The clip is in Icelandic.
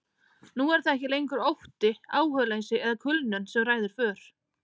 Nú er það ekki lengur ótti, áhugaleysi eða kulnun sem ræður för.